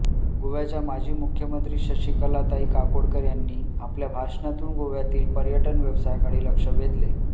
गोव्याच्या माजी मुख्यमंत्री शशिकलाताई काकोडकर यांनी आपल्या भाषणातून गोव्यातील पर्यटन व्यवसायाकडे लक्ष वेधले